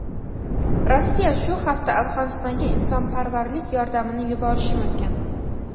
Rossiya shu hafta Afg‘onistonga insonparvarlik yordamini yuborishi mumkin.